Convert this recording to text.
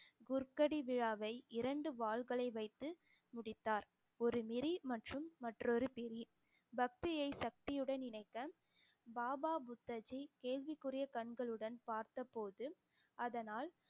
குர்க்கடி விழாவை இரண்டு வாள்களை வைத்து முடித்தார் ஒரு நெறி மற்றும் மற்றொரு பிரி பக்தியை சக்தியுடன் இணைக்க, பாபா புத்தாஜி கேள்விக்குரிய கண்களுடன் பார்த்த போது அதனால்